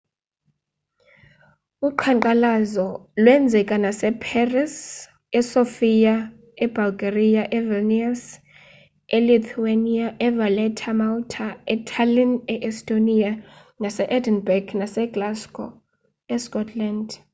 uqhankqalazo lweenzeka nase paris esofia ebulgaria evilnius elithuania evaletta emalta etallinn e-estonia nase-edinburgh naseglasgow escotland